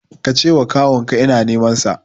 Ka ce wa kawun ka ina neman sa